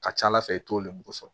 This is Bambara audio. Ka ca ala fɛ i t'o lemuru sɔrɔ